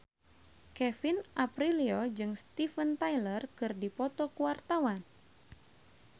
Kevin Aprilio jeung Steven Tyler keur dipoto ku wartawan